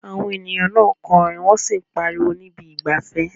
Àwọn ènìyàn náà ń kọrin wọ́n sì ń pariwo ní ibi ìgbafẹ́.